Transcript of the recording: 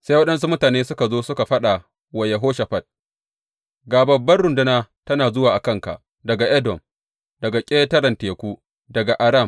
Sai waɗansu mutane suka zo suka faɗa wa Yehoshafat, Ga babban runduna tana zuwa a kanka daga Edom, daga ƙetaren Teku, daga Aram.